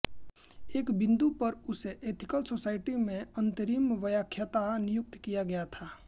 एक बिंदु पर उसे एथिकल सोसायटी में अंतरिम व्याख्याता नियुक्त किया गया था